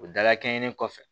O dala kɛɲe in kɔfɛ